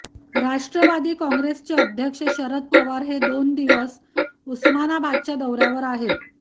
राष्ट्रवादी काँग्रेसचे अध्यक्ष शरद पवार हे दोन दिवसांच्या उस्मानाबादच्या दौऱ्यावर आहेत